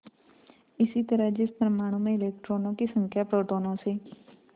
इसी तरह जिस परमाणु में इलेक्ट्रॉनों की संख्या प्रोटोनों से